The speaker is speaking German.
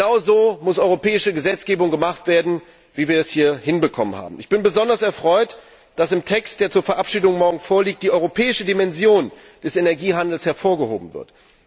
Genau so muss europäische Gesetzgebung gemacht werden, wie wir es hier hinbekommen haben. Ich bin besonders erfreut, dass in dem Text, der zur morgigen Verabschiedung vorliegt, die europäische Dimension des Energiehandels hervorgehoben wird.